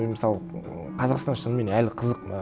мен мысалы ыыы қазақстан шынымен әлі қызық маған